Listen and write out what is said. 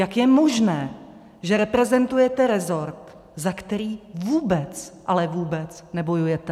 Jak je možné, že reprezentujete resort, za který vůbec, ale vůbec nebojujete?